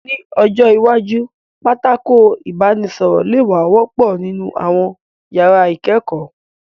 Ní ọjọ́ iwájú, pátákó ìbánisọ̀rọ̀ lè wá wọ́pọ̀ nínú àwọn yàrá ìkẹ́kọ̀ọ́